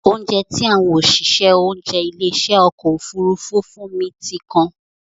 Óunjẹ tí àwọn òṣìṣẹ́ oúnjẹ ilé ìṣe ọkọ̀ Òfurufú fún mi ti kan.